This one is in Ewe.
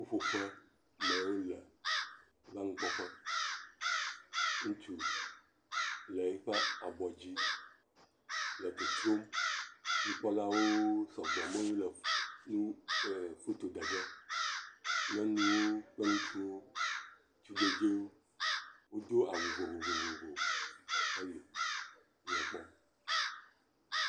Ƒuƒoƒe me wole va nukpɔƒe, ŋutsu le eƒe abɔ dzi le totro, nukpɔlawo sɔgbɔ, ame yiwo le nu le foto ɖe ge, nyɔnuwo, kple ŋutsuwo, tugbɛdzewo, wodo awu vovovo, eli le ekpɔm.